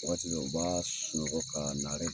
Waati dɔw la u b'a sunɔgɔ ka naare.